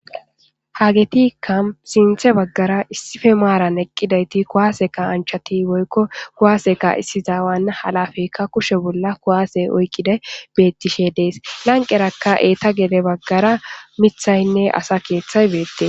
Hagetikka sinthe baggara issife maaran eqqidayti kuwaaseka anchati boykko kuwaaseka issizaawana halafeyka kushe bolla kuwaase oykkide bettishe dees lanqerakka eeta gele baggara mithaynne asa keeththay beette.